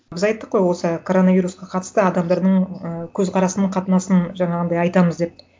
біз айттық қой осы коронавирусқа қатысты адамдардың ы көзқарасын қатынасын жаңағындай айтамыз деп